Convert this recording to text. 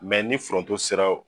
Mɛ ni foronto sera